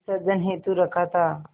विसर्जन हेतु रखा था